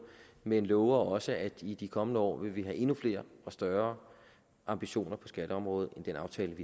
men lover også at vi i de kommende år vil have endnu flere og større ambitioner på skatteområdet end den aftale